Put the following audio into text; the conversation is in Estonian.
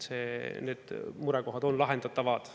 Need murekohad on lahendatavad.